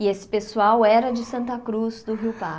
E esse pessoal era de Santa Cruz do Rio